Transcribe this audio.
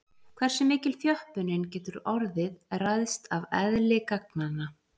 Hversu mikil þjöppunin getur orðið ræðst af eðli gagnanna.